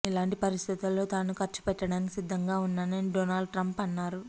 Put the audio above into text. ఇలాంటి పరిస్థితుల్లో తాను ఖర్చు పెట్టడానికి సిద్దంగా ఉన్నానని డోనాల్డ్ ట్రంప్ అన్నారు